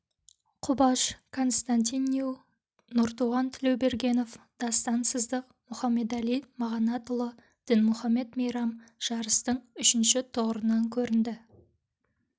құбаш константин ню нұртуған тлеубергенов дастан сыздық мұхаммедали мағанатұлы дінмұхаммед мейрам жарыстың үшінші тұғырынан көрінді